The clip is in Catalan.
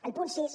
el punt sis